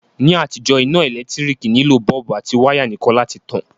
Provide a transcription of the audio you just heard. Ní àtijó, iná ẹ́lẹ̀ntirikì nilò bulb àti wire nìkan láti tan